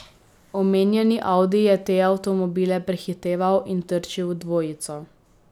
Omenjeni audi je te avtomobile prehiteval in trčil v dvojico.